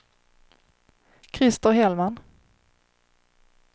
Christer Hellman